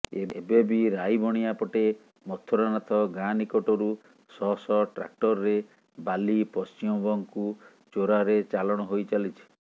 ଏବେବି ରାଇବଣିଆପଟେ ମଥୁରାନାଥ ଗାଁ ନିକଟରୁ ଶହ ଶହ ଟ୍ରାକ୍ଟରରେ ବାଲି ପଶ୍ଚିମବଂଗକୁ ଚୋରାରେ ଚାଲାଣ ହୋଇ ଚାଲିଛି